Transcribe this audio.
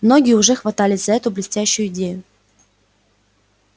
многие уже хватались за эту блестящую идею